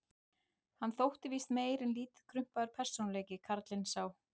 Hann þótti víst meir en lítið krumpaður persónuleiki, karlinn sá.